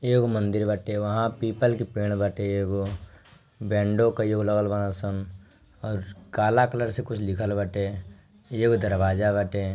एगो मंदिर बटे वहा पीपल का पेड़ बटे एगो | बैंडो कइ एगो लगल बाड़न संग ओर काला कलर से कुछ लिखल बटे | यह दरवाजा बटे ।